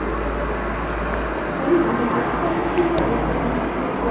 Rim metrosida ikki poyezd to‘qnashib ketdi.